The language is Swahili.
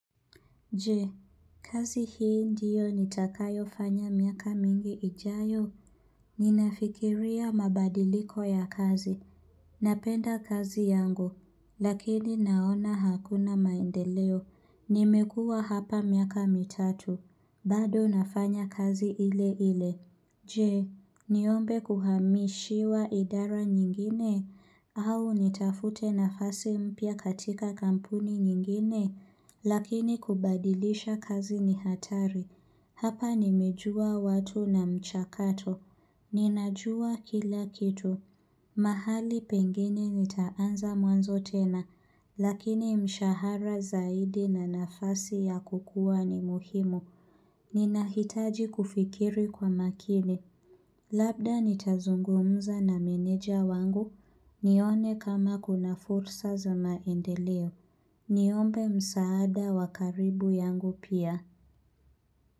Je, kazi hii ndiyo nitakayofanya miaka mingi ijayo. Ninafikiria mabadiliko ya kazi, napenda kazi yangu, lakini naona hakuna maendeleo, nimekuwa hapa miaka mitatu, bado nafanya kazi ile ile. Je, niombe kuhamishiwa idara nyingine, au nitafute nafasi mpya katika kampuni nyingine, lakini kubadilisha kazi ni hatari. Hapa nimejua watu na mchakato. Ninajua kila kitu. Mahali pengine nitaanza mwanzo tena, lakini mshahara zaidi na nafasi ya kukuwa ni muhimu. Ninahitaji kufikiri kwa makini Labda nitazungumza na meneja wangu nione kama kuna fursa za maendeleo Niombe msaada wa karibu yangu pia.